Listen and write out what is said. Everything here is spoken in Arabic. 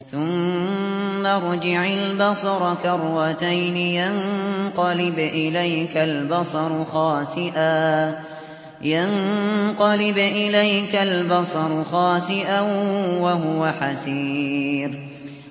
ثُمَّ ارْجِعِ الْبَصَرَ كَرَّتَيْنِ يَنقَلِبْ إِلَيْكَ الْبَصَرُ خَاسِئًا وَهُوَ حَسِيرٌ